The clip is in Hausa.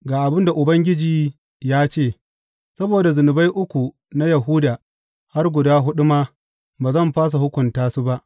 Ga abin da Ubangiji ya ce, Saboda zunubai uku na Yahuda, har guda huɗu ma, ba zan fasa hukunta su ba.